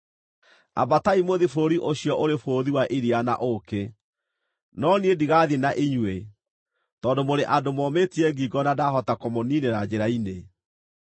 Ambatai mũthiĩ bũrũri ũcio ũrĩ bũthi wa iria na ũũkĩ. No niĩ ndigathiĩ na inyuĩ, tondũ mũrĩ andũ momĩtie ngingo na ndahota kũmũniinĩra njĩra-inĩ.”